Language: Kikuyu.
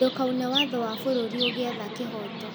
Ndukaune watho wa bũrũri ũgĩetha kĩhooto